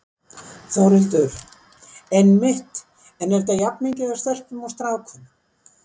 Þórhildur: Einmitt, en er þetta jafn mikið af stelpum og strákum?